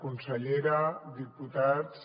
consellera diputats